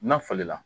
Na falen la